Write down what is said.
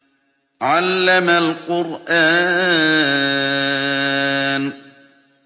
عَلَّمَ الْقُرْآنَ